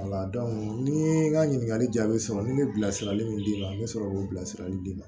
ni ye n ka ɲininkali jaabi sɔrɔ n bɛ bilasirali min d'i ma n bɛ sɔrɔ k'o bilasirali d'i ma